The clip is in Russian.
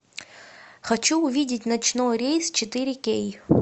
хочу увидеть ночной рейс четыре кей